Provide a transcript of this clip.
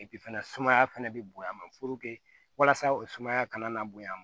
fɛnɛ sumaya fɛnɛ be bonya ma walasa o sumaya kana na bonya